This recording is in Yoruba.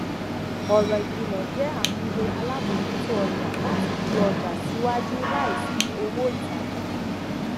ọrọ ikilọ jẹ àmúyẹ alábòjútó ọjà láti fi ọjà síwájú láìsí owó ìtajà